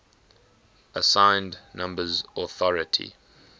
assigned numbers authority